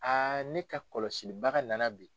ne ka kɔlɔsili baga na na bi.